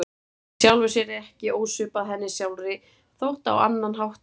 Í sjálfu sér ekki ósvipað henni sjálfri þótt á annan hátt væri.